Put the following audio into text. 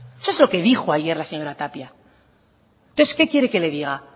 eso es lo que dijo ayer la señora tapia entonces qué quiere que le diga